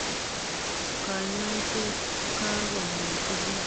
kanyoiset, kakomwachi BBC.